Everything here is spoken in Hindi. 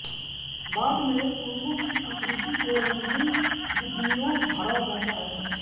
बाद में पद्मों की आकृतियों को रंगीन बुकनियों भरा जाता है